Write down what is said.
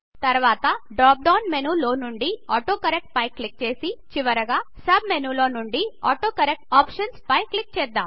తర్వాత drop down menu లో నుండి ఆటోకరెక్ట్ పై క్లిక్ చేసి చివరగా సబ్ మేను లో నుండి ఆటోకరెక్ట్ ఆప్షన్స్ పై క్లిక్ చేద్దాం